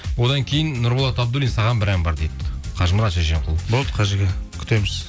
одан кейін нұрболат абдуллин саған бір ән бар дейді қажымұрат шешенқұл болды қажеке күтеміз